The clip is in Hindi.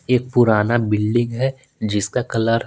एक पुराना बिल्डिंग है जिसका कलर --